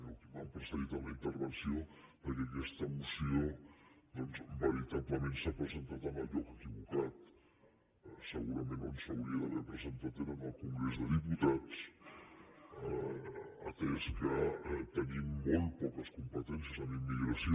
qui m’ha precedit en la intervenció que aquesta moció doncs veritablement s’ha presen·tat en el lloc equivocat segurament on s’hauria d’ha·ver presentat és en el congrés dels diputats atès que tenim molt poques competències en immigració